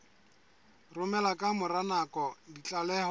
romela ka mora nako ditlaleho